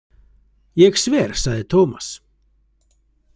Ég sver, sagði Tómas.